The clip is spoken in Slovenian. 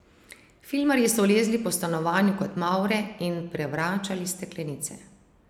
Filmarji so lezli po stanovanju kot mavre in prevračali steklenice.